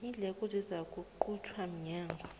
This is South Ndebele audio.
iindleko zizakuquntwa mnyango